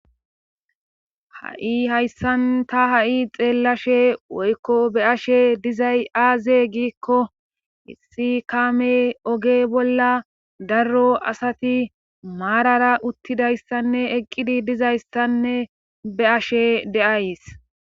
ha7i hayssan ta ha7i xeellashe woykko be ashe dizay aaze giikko issi kaame oge bolla darro asati maarara uttidayssanne eqqidi dizayssanne be ashe deays